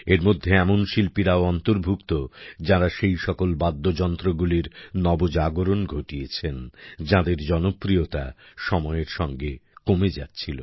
এর মধ্যে এমন শিল্পীরাও অন্তর্ভুক্ত যাঁরা সেই সকল বাদ্যযন্ত্রগুলির নবজাগরণ ঘটিয়েছেন যাদের জনপ্রিয়তা সময়ের সাথে কমে যাচ্ছিল